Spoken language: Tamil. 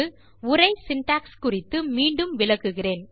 உரை சின்டாக்ஸ் குறித்து மீண்டும் விளக்குகிறேன்